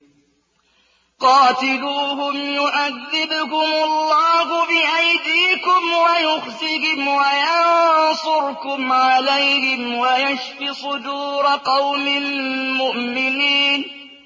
قَاتِلُوهُمْ يُعَذِّبْهُمُ اللَّهُ بِأَيْدِيكُمْ وَيُخْزِهِمْ وَيَنصُرْكُمْ عَلَيْهِمْ وَيَشْفِ صُدُورَ قَوْمٍ مُّؤْمِنِينَ